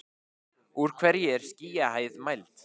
úr hverju er skýjahæð mæld